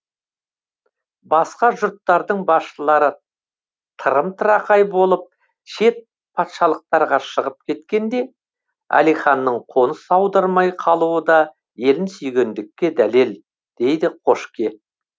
басқа жұрттардың басшылары тырым тырақай болып шет патшалықтарға шығып кеткенде әлиханның қоныс аудармай қалуы да елін сүйгендікке дәлел дейді қошке